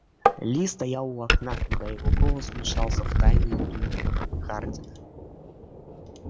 ли стоял у окна когда его голос вмешался в тайные думы хардина